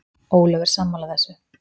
Ólöf er sammála þessu.